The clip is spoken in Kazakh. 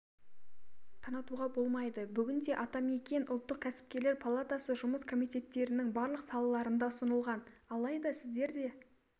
танытуға болмайды бүгінде атамекен ұлттық кәсіпкерлер палатасы жұмыс комиттерінің барлық салаларында ұсынылған алайда сіздер де